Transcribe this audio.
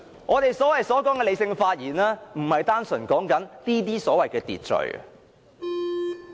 我們所說的理性發言，不是單純指這些所謂的"秩序"。